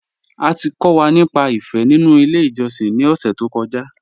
À ti kọ̀ wà nípà ìfé nínu ilẹ̀ ìjọ̀ṣìn ni ọ̀ṣẹ̀ tó kọ́ja.